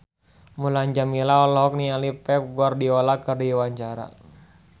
Mulan Jameela olohok ningali Pep Guardiola keur diwawancara